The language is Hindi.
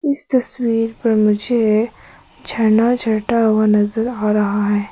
इस तस्वीर में मुझे झरना झरता हुआ नज़र आ रहा है।